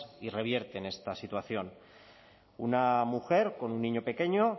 y revierten esta situación una mujer con un niño pequeño